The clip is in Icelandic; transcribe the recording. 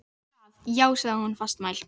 Einmitt það, já sagði hún fastmælt.